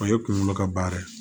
O ye kunkolo ka baara ye